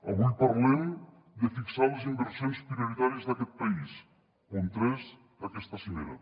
avui parlem de fixar les inversions prioritàries d’aquest país punt tres d’aquesta cimera